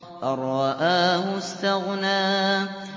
أَن رَّآهُ اسْتَغْنَىٰ